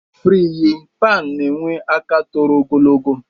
Friyi pan na enwe aka toro ogologo